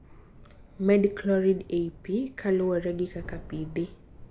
Med chloride ei pi kaluwore gi kaka pi dhi.